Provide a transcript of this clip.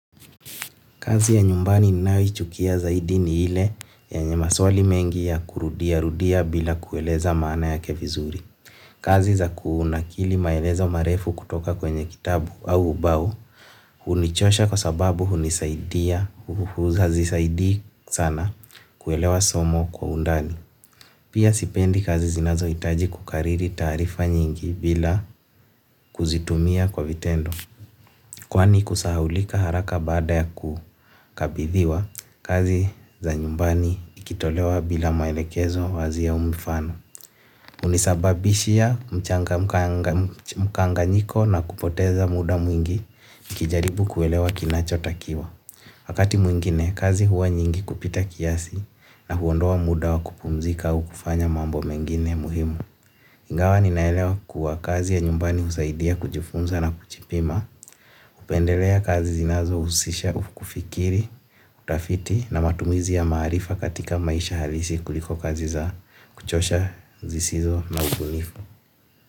Kazi ya nyumbani ninayoichukia zaidi ni ile yenye maswali mengi ya kurudiarudia bila kueleza maana yake vizuri. Kazi za kunakili maelezo marefu kutoka kwenye kitabu au ubao hunichosha kwa sababu hunisaidia, hazisaidi sana kuelewa somo kwa undani. Pia sipendi kazi zinazohitaji kukariri taarifa nyingi bila kuzitumia kwa vitendo. Kwani kusahaulika haraka baada ya kukabithiwa kazi za nyumbani ikitolewa bila maelekezo wazi au mfano. Hunisababishia mkanganyiko na kupoteza muda mwingi nikijaribu kuelewa kinachotakiwa. Wakati mwingine kazi huwa nyingi kupita kiasi na huondoa muda wa kupumzika au kufanya mambo mengine muhimu. Ingawa ninaelewa kuwa kazi ya nyumbani husaidia kujifunza na kujipima, hupendelea kazi zinazohusisha, kufikiri, utafiti na matumizi ya maarifa katika maisha halisi kuliko kazi za kuchosha zisizo na ubunifu.